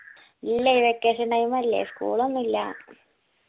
ഇല്ലാ ഈ vacation time അല്ലേ school ഒന്നു ഇല്ലാ